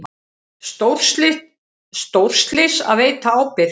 Stórslys að veita ábyrgð